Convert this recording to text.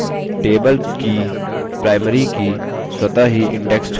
table की primary की स्वतः ही indexed क्रमबद्ध हो जाती है